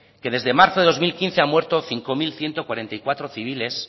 que desde marzo de dos mil quince han muerto cinco mil ciento cuarenta y cuatro civiles